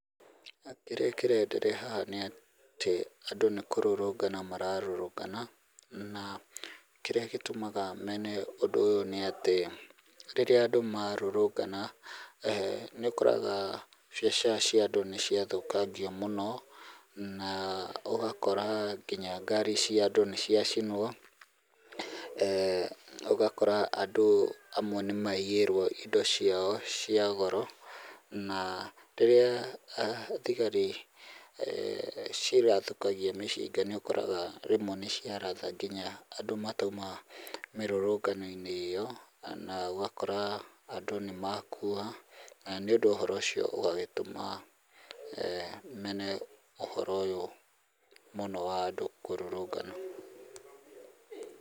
Kĩrĩa kĩreenderea haha nĩ atĩ andũ nĩ kũrũrũngana mararũrũngana, na kĩrĩa gĩtũmaga mene ũndũ ũyũ nĩ atĩ rĩrĩa andũ marũrũngana, nĩ ũkoraga biacara cia andũ nĩ ciathũkangio mũno, na ũgakora nginya ngari cia andũ nĩ ciacinwo. Ũgakora andũ amwe nĩ maiyĩrwo indo ciao cia goro, na rĩrĩa thigari cirathũkagia mĩcinga nĩ ũkoraga rĩmwe nĩ ciaratha nginya andũ matauma mĩrũrũngano-inĩ ĩo na ũgakora andũ nĩ makua, na nĩ ũndũ ũhoro ũcio ũgagĩtũma mene ũhoro ũyũ mũno wa andũ kũrũrũngana.